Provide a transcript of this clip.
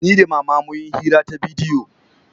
Ni da mama mun yi hira ta bidiyo